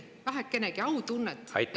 … vähekenegi autunnet.